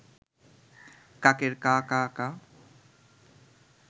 কাকের কা কা কা